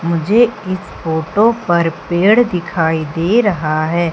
मुझे इस फोटो पर पेड़ दिखाई दे रहा है।